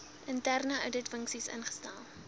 interne ouditfunksie instel